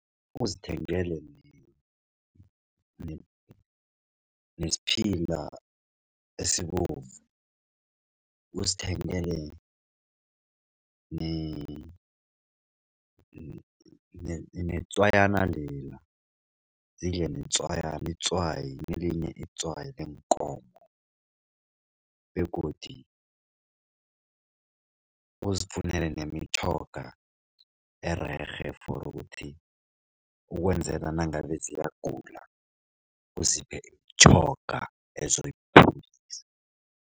Uzithengele nesiphila esibovu, uzithengele netswayana lela zidle netswayana itswayi elinye itswayi leenkomo begodu uzifunele ererhe for ukuthi ukwenzela nangabe ziyagula uziphe imitjhoga ezoyiphilisa.